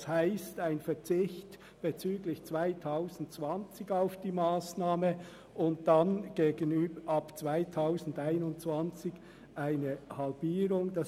Das heisst ein Verzicht bezüglich 2020, aber ab 2021 eine Halbierung des Beitrags.